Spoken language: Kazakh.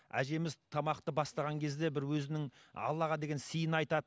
әжеміз тамақты бастаған кезде бір өзінің аллаға деген сыйын айтады